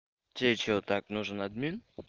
тебе что так нужен админ